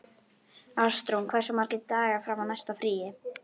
Ástrún, hversu margir dagar fram að næsta fríi?